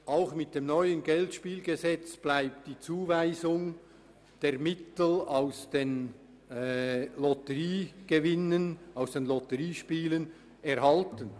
Auch mit dem neuen Geldspielgesetz bleibt die Zuweisung der Mittel aus den Lotteriespielen erhalten.